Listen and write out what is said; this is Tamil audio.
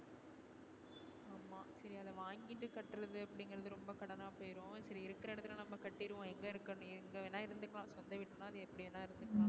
சரி அத வாங்கிட்டு கற்றது அப்படிங்கறது ரொம்ப கடன் ஆ போயிரும் சரி இருக்குற இடத்துலயே நம்ம கட்டிடுவோம் எங்க இருகனோ எங்க வேணுனா இருந்துக்கலாம் சொந்த வீடு னா அது எப்படி வேணா இருந்துக்கலாம்.